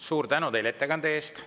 Suur tänu teile ettekande eest!